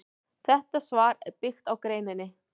Þetta svar er byggt á greininni.